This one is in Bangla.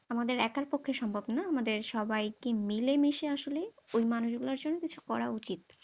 আমাদের একার পক্ষে সম্ভব নয়, আমাদের সবাইকে মিলেমিশে আসলে ওই মানুষ গুলার জন্য কিছু করা উচিত।